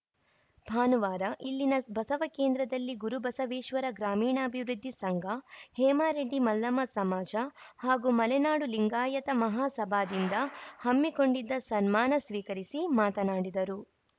ಭಾನುವಾರ ಇಲ್ಲಿನ ಬಸವಕೇಂದ್ರದಲ್ಲಿ ಗುರುಬಸವೇಶ್ವರ ಗ್ರಾಮೀಣಾಭಿವೃದ್ದಿ ಸಂಘ ಹೇಮರೆಡ್ಡಿ ಮಲ್ಲಮ್ಮ ಸಮಾಜ ಹಾಗೂ ಮಲೆನಾಡು ಲಿಂಗಾಯತ ಮಹಾ ಸಭಾದಿಂದ ಹಮ್ಮಿಕೊಂಡಿದ್ದ ಸನ್ಮಾನ ಸ್ವೀಕರಿಸಿ ಮಾತನಾಡಿದರು